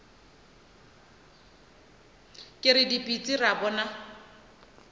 re ke dipitsi ra bona